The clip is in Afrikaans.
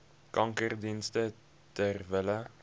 kankerdienste ter wille